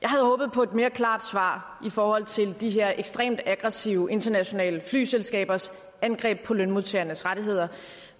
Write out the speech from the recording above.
på et mere klart svar i forhold til de her ekstremt aggressive internationale flyselskabers angreb på lønmodtagernes rettigheder